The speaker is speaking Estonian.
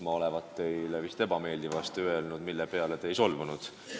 Ma olevat teile midagi ebameeldivat öelnud, aga te ei solvunud.